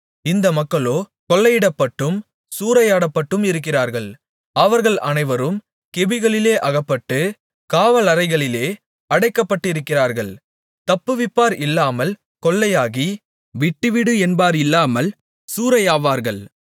இந்த மக்களோ கொள்ளையிடப்பட்டும் சூறையாடப்பட்டும் இருக்கிறார்கள் அவர்கள் அனைவரும் கெபிகளிலே அகப்பட்டு காவலறைகளிலே அடைக்கப்பட்டிருக்கிறார்கள் தப்புவிப்பார் இல்லாமல் கொள்ளையாகி விட்டுவிடு என்பார் இல்லாமல் சூறையாவார்கள்